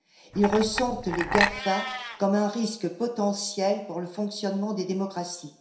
Ils ressentent les GAFA comme un risque potentiel pour le fonctionnement des démocraties.